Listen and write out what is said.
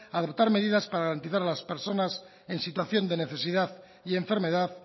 a adoptar medidas para garantizar a las personas en situación de necesidad y enfermedad